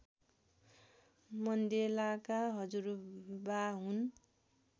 मण्डेलाका हजुरबा हुन्